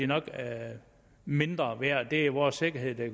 nok er mindre værd det er vores sikkerhed det